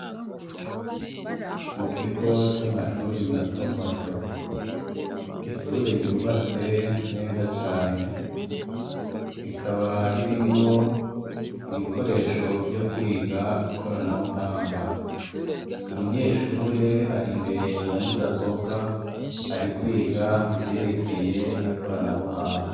Mu kigo c'amashuri matomato, ishure ryubatse neza cane rikaba ririmwo ibikoresho vyo kwiga ikoranabuhanga, umunyeshure ari imbere ya mudasobwa ari kwiga ivyerekeye ikoranabuhanga.